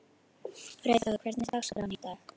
Freyþór, hvernig er dagskráin í dag?